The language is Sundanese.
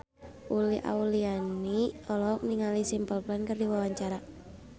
Uli Auliani olohok ningali Simple Plan keur diwawancara